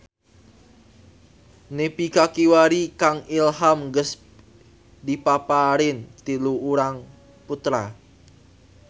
Nepi ka kiwari Kang Ilham geus dipaparin tilu urang putra